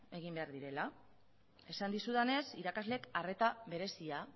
egin behar direla esan dizudanez irakasleek arreta berezia